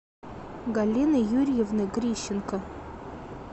галины юрьевны грищенко